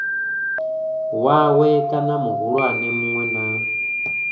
wawe kana muhulwane munwe na